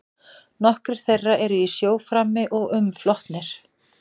Nokkrir þeirra eru í sjó frammi og umflotnir.